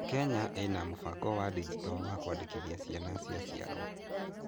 Kenya ina mũbango wa ndigito wa kũandĩkithia ciana cia ciarwo.